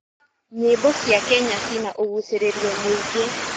Nyĩmbo cia Kenya cina ũgucĩrĩrio mũingĩ.